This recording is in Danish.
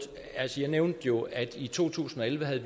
jeg nævnte jo at vi i to tusind og elleve havde